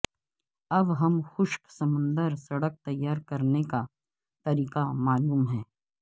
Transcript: اب ہم خشک سمندر سڑک تیار کرنے کا طریقہ معلوم ہے